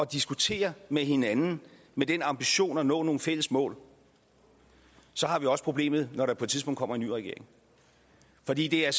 diskutere med hinanden med den ambition at nå nogle fælles mål så har vi også problemet når der på et tidspunkt kommer en ny regering for det det er